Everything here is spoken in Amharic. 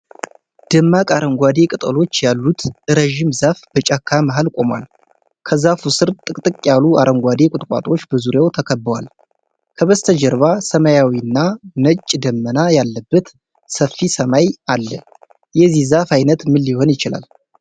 ደማቅ አረንጓዴ ቅጠሎች ያሉት ረዥም ዛፍ በጫካ መሃል ቆሟል። ከዛፉ ስር ጥቅጥቅ ያሉ አረንጓዴ ቁጥቋጦዎች በዙሪያው ተከበዋል። ከበስተጀርባ ሰማያዊና ነጭ ደመና ያለበት ሰፊ ሰማይ አለ። የዚህ ዛፍ ዓይነት ምን ሊሆን ይችላል?